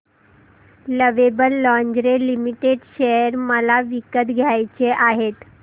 lovable lingerie limited share मला विकत घ्यायचे आहेत